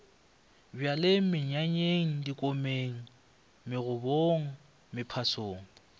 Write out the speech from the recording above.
bjalweng menyanyeng dikomeng megobong mephasong